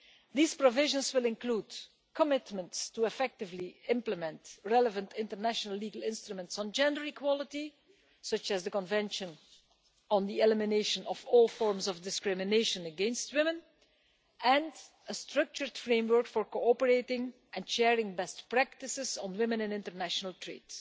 These provisions will include commitments to effectively implement relevant international legal instruments on gender equality, such as the Convention on the Elimination of All Forms of Discrimination against Women and a structured framework for cooperating and sharing best practices on women in international trade.